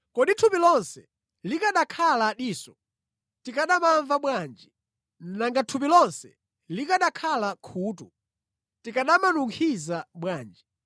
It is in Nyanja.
Kodi thupi lonse likanakhala diso, tikanamamva bwanji? Nanga thupi lonse likanakhala khutu, tikanamanunkhiza bwanji?